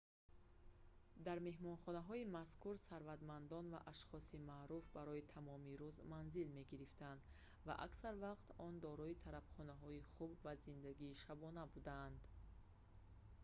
дар меҳмонхонаҳои мазкур сарватмандон ва ашхоси маъруф барои тамоми рӯз манзил мегирифтанд ва аксар вақт он дорои тарабхонаҳои хуб ва зиндагии шабона буданд